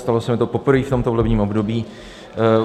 Stalo se mi to poprvé v tomto volebním období.